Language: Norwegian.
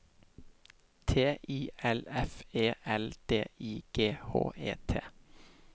T I L F E L D I G H E T